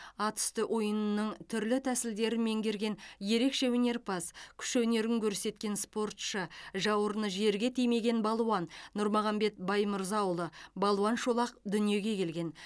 ат үсті ойынының түрлі тәсілдерін меңгерген ерекше өнерпаз күш өнерін көрсеткен спортшы жауырыны жерге тимеген балуан нұрмағамбет баймырзаұлы балуан шолақ дүниеге келген